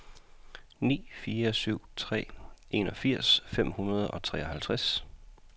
ni fire syv tre enogfirs fem hundrede og treoghalvfjerds